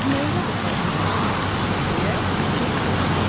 Nəyi yada sala bilmirsən, - deyə Tırtıl soruşdu.